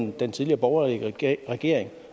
jo den tidligere borgerlige regering regering